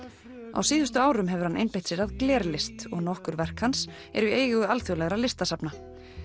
á síðustu árum hefur hann einbeitt sér að glerlist og nokkur verk hans eru í eigu alþjóðlegra listasafna